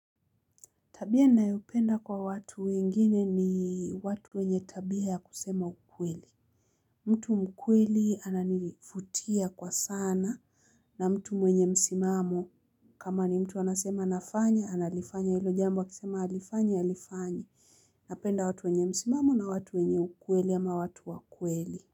Tabia ninayopenda kwa watu wengine ni watu wenye tabia ya kusema ukweli. Mtu mkweli ananivutia kwa sana na mtu mwenye msimamo. Kama ni mtu anasema nafanya, analifanya hilo jambo, akisema halifanyi, halifanyi. Napenda watu wenye msimamo na watu wenye ukweli ama watu wakweli.